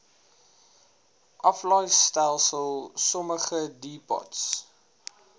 aflaaistelsel sommige depots